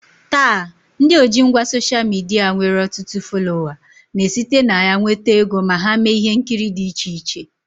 Taa, ndị ojingwa soshal midia nwere ọtụtụ folowa na-esite na ya nweta ego ma ha mee ihe nkiri dị iche iche